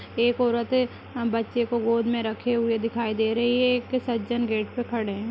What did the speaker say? एक औरत है बच्चे को गोद में रखे हुए दिखाई दे रही है एक सज्जन गेट पे खड़े हैं।